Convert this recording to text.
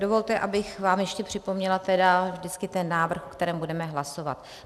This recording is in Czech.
Dovolte, abych vám ještě připomněla vždycky ten návrh, o kterém budeme hlasovat.